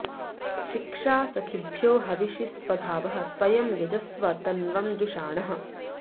शिक्षा॒ सखि॑भ्यो ह॒विषि॑ स्वधावः स्व॒यं य॑जस्व त॒नुवं॑ जुषा॒णः